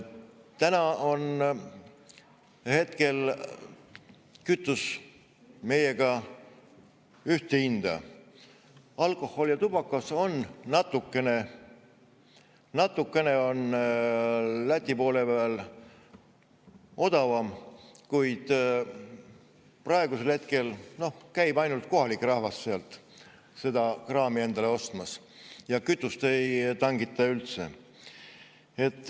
Praegu on Lätis kütus meiega ühte hinda, alkohol ja tubakas on Läti poole peal natukene odavam, kuid praegu käib ainult kohalik rahvas sealt seda kraami endale ostmas, ja kütust ei tangita üldse.